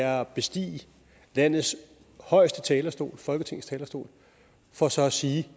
er at bestige landets højeste talerstol folketingets talerstol for så at sige